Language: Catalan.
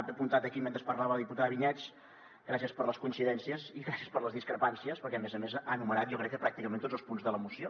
ho he apuntat aquí mentre parlava la diputada vinyets gràcies per les coincidències i gràcies per les discrepàncies perquè a més a més ha enumerat jo crec que pràcticament tots els punts de la moció